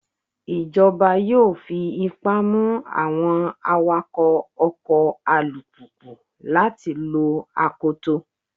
Ìjọba yóò fi ipá mú àwọn awakọ́ ọkọ̀ alùpùpù láti lo akoto.